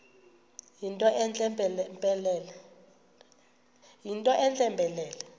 yinto entle mpelele